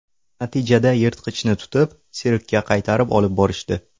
Natijada yirtqichni tutib, sirkka qaytarib olib borishdi.